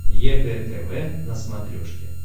егэ тв на смотрешке